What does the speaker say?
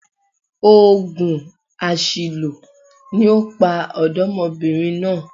Ògùn àṣìlò ni ó pa ọ̀dọ́mọbìnrin náà